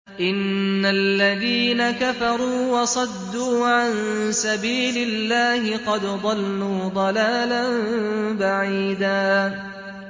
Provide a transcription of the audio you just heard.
إِنَّ الَّذِينَ كَفَرُوا وَصَدُّوا عَن سَبِيلِ اللَّهِ قَدْ ضَلُّوا ضَلَالًا بَعِيدًا